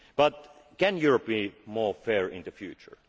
now. But can Europe be more fair in the future?